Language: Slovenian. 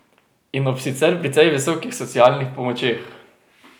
In ob sicer precej visokih socialnih pomočeh.